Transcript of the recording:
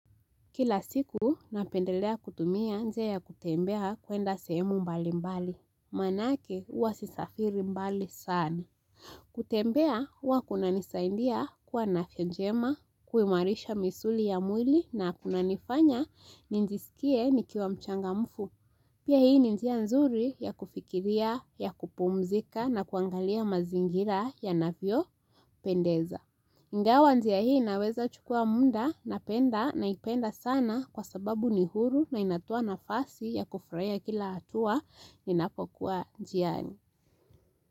Kila siku napendelea kutumia njia ya kutembea kuenda sehemu mbali mbali. Maanake huwa sisafiri mbali sani. Kutembea huwa kuna nisaindia kuwa na afya njema, kuimarisha misuli ya mwili na kuna nifanya ninjisikie nikiwa mchangamfu. Pia hii ni njia nzuri ya kufikiria, ya kupumzika na kuangalia mazingira ya navyo pendeza. Ingawa njia hii inaweza chukua munda na penda na ipenda sana kwa sababu ni huru na inatoa nafasi ya kufurahia kila hatua inapokuwa jiani.